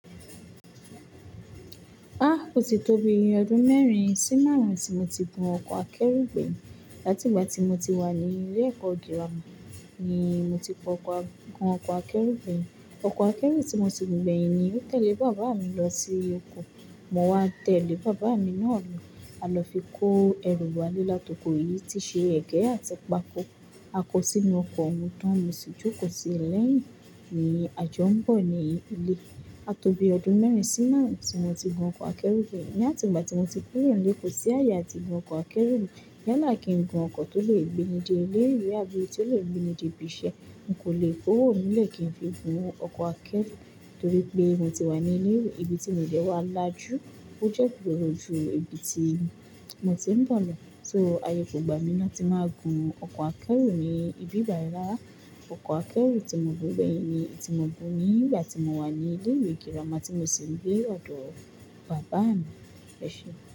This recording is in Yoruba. Ah! Ó ti tó bíi iye ọdún mẹ́rin sí márùn-ún tí mo ti gun ọkọ̀ akẹ́rù gbẹ̀yìn. Látìgbà tí mo ti wà ní ilé ẹ̀kọ́ girama ni mo ti gun ọkọ̀ akẹ́rù gbẹ̀yìn. Ọkọ̀ akẹ́rù tí mo ti gun gbẹ̀yìn ni ó tẹ̀lé bàbá mi lọ sí oko. Mo wá tẹ̀lé bàbá mi náà lọ. A lọ fi kó ẹrù wa lé látòkò yìí tí ṣe ẹ̀gẹ́ àti pákó. A kó sínú ọkọ̀ wọn tán, mo sì jókòó síi lẹ̀yin ní à jọ̀'nbọ̀ ní ilé. A tóbi ọdún mẹ́rin sí márùn-ún tí mo ti gun ọkọ̀ akẹ́rù gbẹ̀yìn. Láti ìgbà tí mo ti kúrò ní ilé, kò sí ààyè tí mo gun ọkọ̀ akẹ́rù mọ. Yálà kí n gun ọkọ̀ tó lè gbé me de ilé ìwé àbí tó lè gbé mi de ibi iṣẹ́. N kò lè kúrò níle kí n fi gun ọkọ̀ akẹ́rù torí pé mo ti wà ní ilé ìwé. Ibi tí mo dẹ́ wá lájú, ó jẹ́ igbòòrò ju ibi tí mo ti ń bọ̀ lọ. So, ààyè kò gba mi láti máa gun ọkọ̀ akẹ́rù ní ibí báyìí rárá. Ọkọ̀ akẹ́rù tí mo gun gbẹ̀yìn ni tí mo gun ní ìgbà tí mo wà ní ilé ìwé girama tí mo sì ń gbé ọ̀dọ̀ bàbá mi. Ẹ ṣe?